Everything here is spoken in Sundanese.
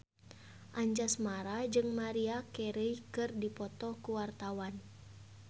Anjasmara jeung Maria Carey keur dipoto ku wartawan